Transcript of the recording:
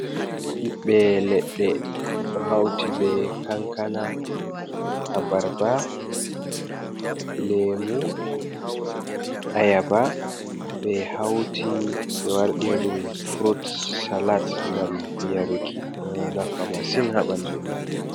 Ɓiɓɓe leɗɗe, ɗo hauti be kankana, abarba, leemu, ayaba, ɓe hauti be wardiri ɗum furut salat ngam yaruki, ɗo nafa masin haa ɓandu himɓe.